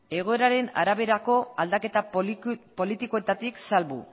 egoeraren araberako aldaketa politikoetatik salbu